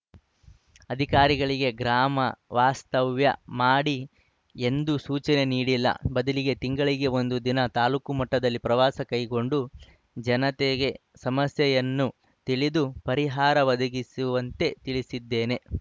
ಅಧಿಕಾರಿಗಳಿಗೆ ಗ್ರಾಮ ವಾಸ್ತವ್ಯ ಮಾಡಿ ಎಂದು ಸೂಚನೆ ನೀಡಿಲ್ಲ ಬದಲಿಗೆ ತಿಂಗಳಲ್ಲಿ ಒಂದು ದಿನ ತಾಲೂಕು ಮಟ್ಟದಲ್ಲಿ ಪ್ರವಾಸ ಕೈಗೊಂಡು ಜನತೆಗೆ ಸಮಸ್ಯೆಗಳನ್ನು ತಿಳಿದು ಪರಿಹಾರ ಒದಗಿಸುವಂತೆ ತಿಳಿಸಿದ್ದೇನೆ